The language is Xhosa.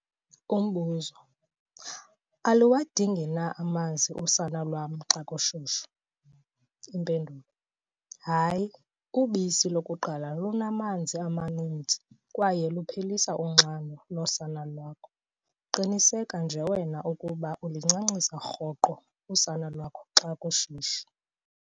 Umbuzo- Aluwadingi na amanzi usana lwam xa kushushu? Impendulo- Hayi, ubisi lokuqala lunamanzi amaninzi kwaye luphelisa unxano losana lakho. Qiniseka nje wena ukuba ulincancisa rhoqo usana lwakho xa kushushu.